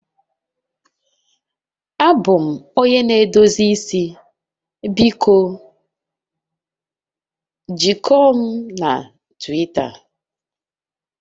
Abụ m onye na-edozi isi, biko jikọọ m na Twita